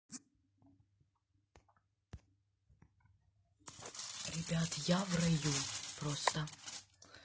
ребят я в раю просто